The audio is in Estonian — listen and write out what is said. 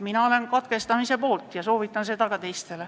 Mina olen katkestamise poolt ja soovitan olla ka teistel.